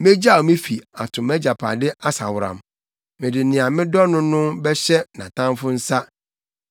“Megyaw me fi, ato mʼagyapade asaworam; mede nea medɔ no no bɛhyɛ nʼatamfo nsa.